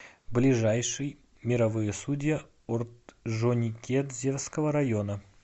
ближайший мировые судьи орджоникидзевского района